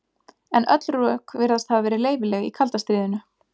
En öll rök virðast hafa verið leyfileg í kalda stríðinu.